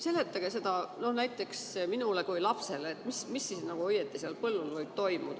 Seletage seda mulle näiteks nii nagu lapsele, mis seal põllul siis õieti võib toimuda.